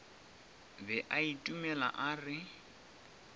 be a itumela a re